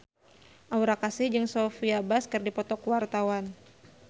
Aura Kasih jeung Sophia Bush keur dipoto ku wartawan